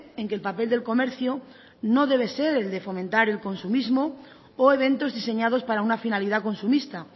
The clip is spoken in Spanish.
en que el papel del comercio no debe ser el de fomentar el consumismo o eventos diseñados para una finalidad consumista